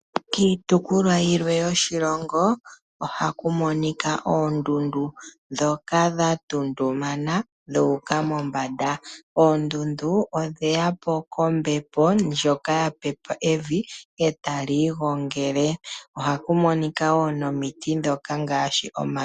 Kiitopolwa yilwe yoshilongo ohaku monika oondundu ndhoka dha tuntumana dhuuka pombanda. Oondundu odheya po kombepo ndjoka yapepe evi etali igongele. Ohaku monika wo nomiti ndhoka ngaashi omano.